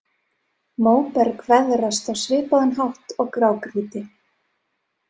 Móberg veðrast á svipaðan hátt og grágrýti.